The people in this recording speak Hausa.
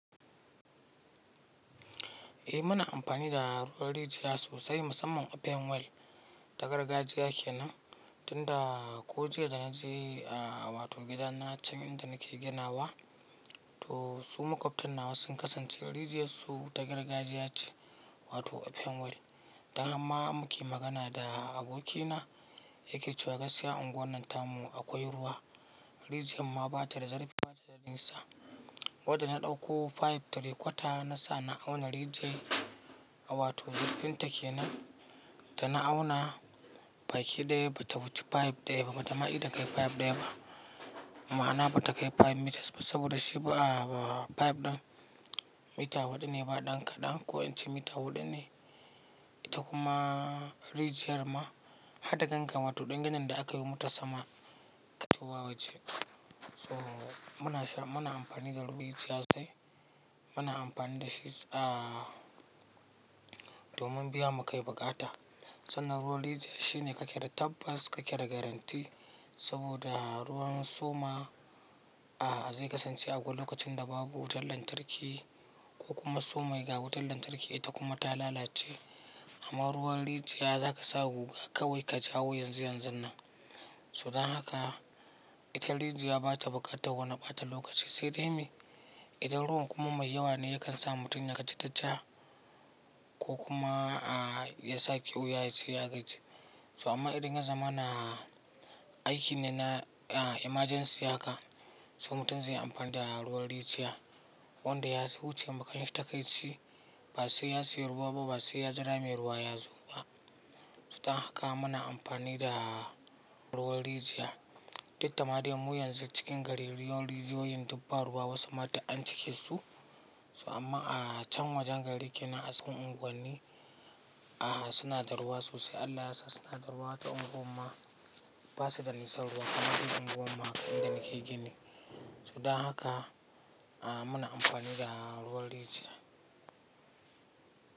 Eh muna amfani da ruwan rijiya sosai musamman open well ta gargajiya kenan. Tun da ko jiya da na je a wato gidana can inda nake ginawa, to su makwabtan nawa sun kasance rijiyarsu ta gargajiya ce wato open well. Dan har ma muke magana da abokina yake cewa gaskiya unguwannan tamu akwai ruwa. Rijiyar ma ba ta da zurfi ba ta da nisa. Wanda na dauko pipe three kwata na sa na auna rijiyar a wato zurfin ta kenan. Da na auna, baki daya ba ta wuce pipe daya ba bata ma ida kai pipe ɗaya ba ma'ana ba ta kai five meters ba saboda shi ba pipe ɗin mita huɗu ne ba ɗan kaɗan ko ince mita huɗu ne. Ita kuma rijiyar ma hadda gangan wato ɗan ginin da aka yi mata sama ta wawace. So muna amfani da ruwan rijiya so sai muna amfani da shi a-domin biya ma kai bukata. Sannan ruwan rijiya shine ka keda tabbas, ka keda garantti saboda ruwan soma a zai kasance akwai lokacin da babu wutar lantarki ko kuma somai ga wutar lantarki ita kuma ta lalace. Amma ruwan rijiya zaka sa guga kawai ka jawo yanzu yanzun nan. So dan haka ita rijiya ba ta bukata wani ɓata lokaci sai dai me? Idan ruwan kuma mai yawa ne yakan sa mutum ya gaji da-ja ko kuma a ya sa ƙiwiya yace ya gaji. So amma idan ya zamana aiki ne na emergency haka, so mutum zai yi amfani da ruwan rijiya. Wanda ya wuce ma kanshi takaici ba sai ya sayi ruwa ba, ba sai ya jira mai ruwa ya zo ba. So dan haka muna amfani da ruwan rijiya. Duk da ma dai mu yanzu cikin gari ruwan rijiyoyin duk ba ruwa wasu ma duk an cike su. So amma a can wajen gari kenan a cikin unguwanni a suna da ruwa sosai Allah yasa suna da ruwa ta unguwar ma ba su da nisan ruwa. Kuma unguwar ma inda nake gini. So dan haka a muna amfani da ruwan rijiya.